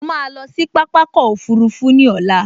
Mo ma lọ sí pápákọ̀ òfurufú ní ọ̀la